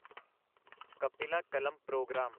ਕਪਿਲਾ ਕਲਮ ਪ੍ਰੋਗਰਾਮ